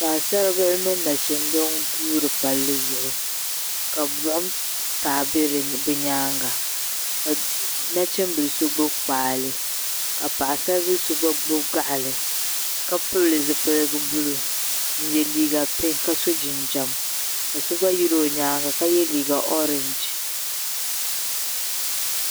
Paɣisaribihi mini nachimba n-guuri palli zuɣu ka buɣim taai be bɛ nyaaŋa ka nachimbil' so gbubi kpaale ka paɣisaril' so gba gbubi gaɣili ka pili zupiligu buluu gba yi o nyaaŋa ka ye liiga ooragi.